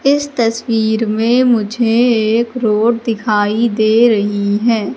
इस तस्वीर में मुझे एक रोड दिखाई दे रही है।